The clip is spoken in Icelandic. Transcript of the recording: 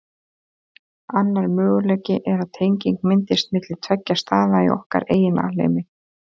Annar möguleiki er að tenging myndist milli tveggja staða í okkar eigin alheimi.